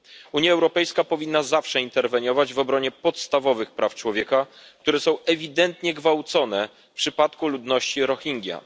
Unia Europejska powinna zawsze interweniować w obronie podstawowych praw człowieka, które są ewidentnie gwałcone w przypadku ludności Rohingja.